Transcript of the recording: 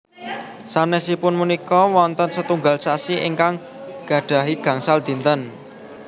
Sanesipun punika wonten setunggal sasi ingkang gadhahi gangsal dinten